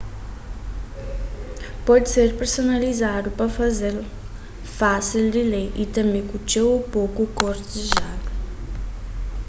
pode ser personalizadu pa faze-l fásil di lê y tanbê ku txeu ô poku kor dizejadu